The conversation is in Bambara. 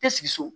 Te sigi so